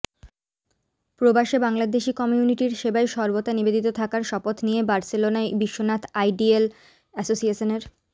প্রবাসে বাংলাদেশী কমিউনিটির সেবায় সর্বদা নিবেদিত থাকার শপথ নিয়ে বার্সেলোনায় বিশ্বনাথ আইডিয়েল এসোসিয়েশনের